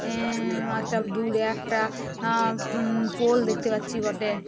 আ আ একটা দূরে একটা আ উম পোল দেখতে পাচ্ছি বটে।